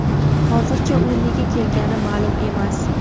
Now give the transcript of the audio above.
Hozircha u nega kelgani ma’lum emas.